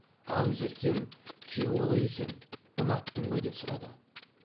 ал еркем күйеу қалай екен ұнаттың ба деп сұрады